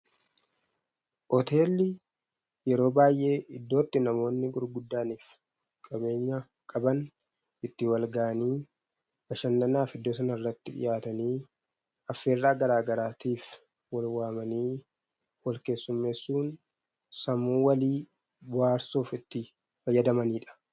Hoteelli yeroo baay'ee iddoo itti namoonni gurguddaanii fi qabeenya qaban itti wal ga'anii bashannanaa fi iddoo sana irratti dhiyaatanii, affeerraa garaa garaatiif wal waamanii, wal keessummeessuun sammuu walii bohaarsuuf itti fayyadamaniidha.